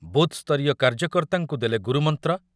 ବୁଥସ୍ତରୀୟ କାର୍ଯ୍ୟକର୍ତ୍ତାଙ୍କୁ ଦେଲେ ଗୁରୁମନ୍ତ୍ର